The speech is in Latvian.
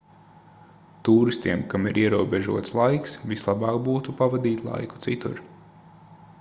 tūristiem kam ir ierobežots laiks vislabāk būtu pavadīt laiku citur